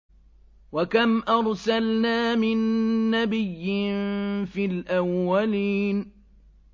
وَكَمْ أَرْسَلْنَا مِن نَّبِيٍّ فِي الْأَوَّلِينَ